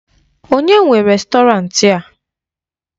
Onye nwe rèstọrantị a?